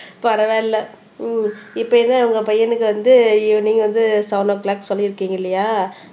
பரவாயில்லை உம் இப்ப என்ன இவங்க பையனுக்கு வந்து ஈவினிங் வந்து செவென் ஓ கிளாக் சொல்லி இருக்கீங்க இல்லையா